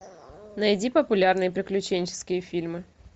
найди популярные приключенческие фильмы